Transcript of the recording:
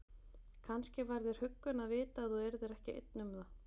Kannski var þér huggun að vita að þú yrðir ekki einn um það.